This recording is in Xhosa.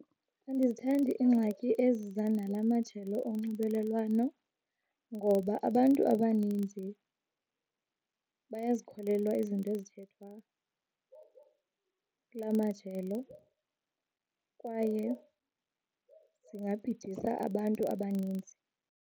Andizithandi iingxaki eziza nala majelo onxibelelwano ngoba abantu abaninzi bayazikholelwa izinto ezithethwa kula majelo kwaye zingabhidisa abantu abaninzi.